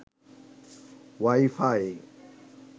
wifi